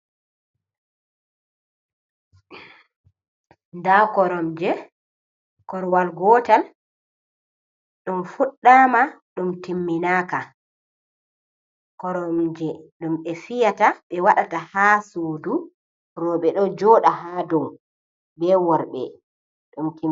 Nda kuromje, korwal gotal ɗum fuɗɗama ɗum timminaka, koromje ɗum ɓe fiyata, be waɗata ha sudu roɓe ɗo joɗa ha dow be worɓe.